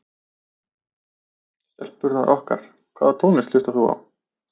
Stelpurnar okkar Hvaða tónlist hlustar þú á?